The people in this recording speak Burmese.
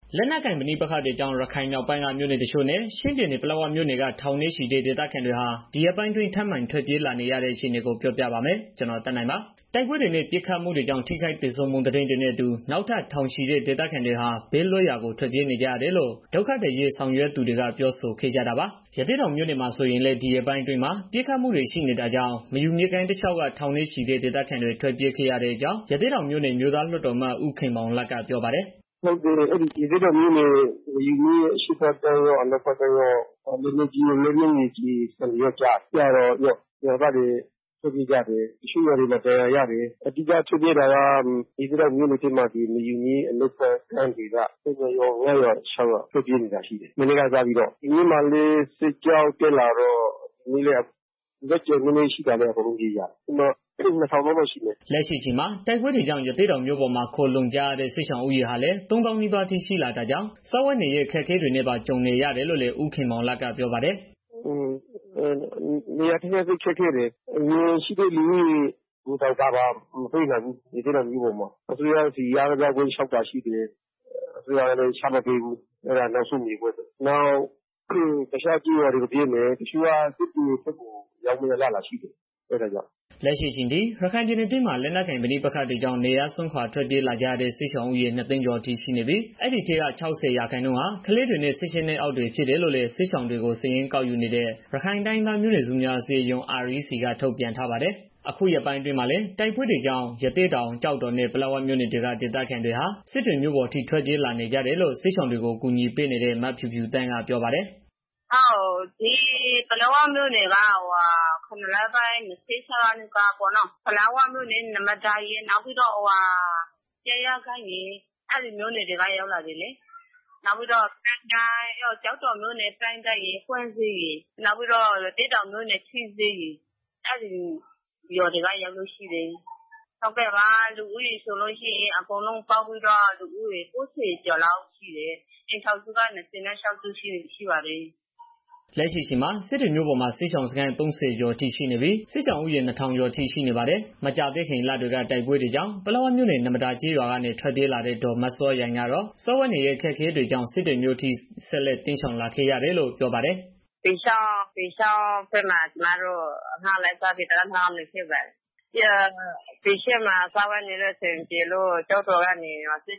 လက်နက်ကိုင် ပဋိပက္ခတွေကြောင့် ရခိုင်မြောက်ပိုင်းက မြို့နယ်တချို့နဲ့ ချင်းပြည်နယ် ပလက်ဝမြို့နယ်က ထောင်နဲ့ချီတဲ့ ဒေသခံတွေဟာ ဒီရက်ပိုင်းအတွင်း ထပ်မံထွက်ပြေးလာနေကြရတဲ့ အခြေအနေကို ပြောပြပါမယ်။ ဗွီအိုအေမြန်မာပိုင်းသတင်းထောက် ကိုသက်နိုင်က သတင်းပေးပို့ထားပါတယ်။ တိုက်ပွဲတွေနဲ့ ပစ်ခတ်မှုတွေကြောင့် ထိခိုက်သေဆုံးမှု သတင်းတွေနဲ့အတူ နောက်ထပ်ထောင်နဲ့ချီတဲ့ ဒေသခံတွေ ဘေးလွတ်ရာ ထွက်ပြေးနေကြရတယ်လို့ ဒုက္ခသည်အရေး ဆောင်ရွက်နေသူတွေက ပြောဆိုခဲ့ကြတာပါ။ ရသေ့တောင်မြို့နယ်မှာ ဆိုရင်လည်း ဒီရက်ပိုင်းအတွင်း ပစ်ခတ်မှုတွေ ရှိနေတာကြောင့် မယူမြစ်ကမ်းတလျှောက်က ထောင်နဲ့ချီတဲ့ဒေသခံတွေ ထွက်ပြေးခဲ့ရတဲ့အကြောင်း ရသေ့တောင်မြို့နယ် အမျိုးသားလွှတ်တော်အမတ် ဦးခင်မောင်လတ်က ပြောပါတယ်။ "ရသေ့တောင်မြို့နယ် မေယုမြစ်အရှေ့ဘက်ကမ်းရော အနောက်ဘက်ကမ်းရော လက်နက်ကြီး၊ လက်နက်ငယ်တွေကျတော့ ရွာသားတွေ ထွက်ပြေးကြတယ်။ တချို့ကျေးရွာတွေမှာဒဏ်ရာရကြတယ်။ အများဆုံးထွက်ပြေးရတာက ရသေ့တောင်မြို့နယ်ထဲမှာ ဆိုလို့ရှိရင် မေယုမြစ် အနောက်ဘက်ကမ်းဒေသ ရွာ ၅ ရွာ၊ ၆ရွာလောက် ထွက်ပြေးနေတာရှိတယ် မနေ့ပေါ့။ ဒီနေ့မှာလည်း အဲဘက်မှာ စစ်ကြောင်းတက်လာတော့ ကျန်တဲ့ သူတွေ အကုန်လုံးပြေးကြရတယ်။ အကုန်လုံးဆိုရင် လူဦးရေ ၂,၀၀၀ လောက်ရှိမယ်။" လက်ရှိအချိန်မှာ တိုက်ပွဲတွေကြောင့် ရသေ့တောင်မြို့ပေါ်မှာ ခိုလှုံနေကြရတဲ့ စစ်ရှောင်ဦးရေဟာလည်း ၃၀,၀၀၀ နီးပါးရှိလာတာကြောင့် စားဝတ်နေရေး အခက်အခဲတွေပါ ကြုံနေရတယ်လို့လည်း ဦးခင်မောင်လတ်က ပြောပါတယ်။ "နေရာကတော်တေ်ာခက်ခဲ့တယ် အရင်ရှိတဲ့သူတွေကိုတောင် ကာဗာမပေးနိုင်ဘူး။ ရသေ့တောင်မှာ အစိုးရဆီကို မြေနေရာလျှောက်တယ်။ အစိုးရကလည်း ချမပေးဘူး၊ အဲတာနောက်ဆုံးမြေပေါ့။ အဲတော့ တချို့က တခြား ကျေးရွာတွေကို ပြေးမယ်။ နောက်စစ်တွေဘက်ကို ရောက်မယ့် အလားအလာလည်း ရှိနေတယ်။" လက်ရှိအချိန်ထိ ရခိုင်ပြည်နယ်အတွင်းမှာ လက်နက်ကိုင်ပဋိပက္ခတွေကြောင့် နေရပ်စွန့်ခွားထွက်ပြေးလာကြရ တဲ့ စစ်ရှောင်ဦးရေ ၂၀၀,၀၀၀ ကျာ်အထိ ရှိနေပြီး အဲဒီက ၆၀ ရာခိုင်နှုန်းဟာ ကလေးတွေနဲ့ ၁၈နှစ်အောက် တွေဖြစ် တယ်လို့ စစ်ရှောင်တွေကို စာရင်းကောက်ယူနေတဲ့ ရခိုင်တိုင်းရင်းသား မျိုးနွယ်စုများအစည်းအရုံး RECက ထုတ်ပြန်ထားပါတယ်။ အခုရက်ပိုင်းအတွင်းမှာလည်း တိုက်ပွဲတွေကြောင့် ရသေ့တောင် ကျောက်တော်နဲ့ ပလက်ဝမြို့နယ်တွေက ဒေသခံတွေဟာ စစ်တွေမြို့ပေါ်အထိ ထွက်ပြေးလာနေကြတယ်လို့ စစ်ရှောင်တွေကို ကူညီပေးနေတဲ့ မဖြူဖြူသန်းက ပြောပါတယ်။ "ပလက်ဝမြို့နယ်ကတော့ ၇ လပိုင်း ၂၆ ရက်နေ့ကတည်းကပေါ့နော်။ ပလက်ဝမြို့နယ် နမဒါရယ် ပြိုင်းရကိုင်းရယ် အဲဒီမြို့နယ်တွေက ရောက်လာတယ်လေ၊ နောက်ပြီးတော့ ကျောက်တော်မြို့နယ် ပြိုင်းတိုင်းရယ်၊ ရသေ့တောင်မြို့နယ် ထီးစွဲရယ် အဲဒီရွာတွေက ရောက်လို့ရှိတယ်။ လူဦးကတော့ ၉၀ ကျော်လောက်ရှိတယ် အိမ်ထောင်စုကတော့ ၂၆ စုပေါ့။" လက်ရှိအချိန်မှာ စစ်တွေမြို့ပေါ်မှာ စစ်ရှောင်စခန်း ၃၀ ကျော်အထိရှိနေပြီး စစ်ရှောင်ဦးရေ နှစ်ထောင်ကျော် အထိ ရှိနေပါတယ်။ မကြာသေးခင်လတွေက တိုက်ပွဲတွေကြောင့် ပလက်ဝမြို့နယ် နမဒါကျေးရွာကထွက်ပြေးလာတဲ့ ဒေါ်မစောယိုင်းကတော့ စားဝတ်နေရေး အခက်အခဲတွေကြောင့် စစ်တွေမြို့အထိ ဆက်လက်တိမ်းရှောင်လာခဲ့ရတယ်လို့ ပြောပါတယ်။ "ပီချောင်းဘက်မှာ ကျမတို့ နေ့စားအလုပ်လုပ်ပြီးတော့ တစ်လ၊ နှစ်လလောက်နေခဲ့ကြတယ်။ အဲဒီမှာ စားဝတ်နေရေးအဆင်မပြေတော့ ကျောက်တော်ကနေ ဒီစစ်